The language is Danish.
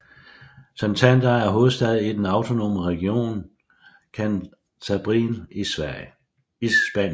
Santander er hovedstad i den autonome region Cantabrien i Spanien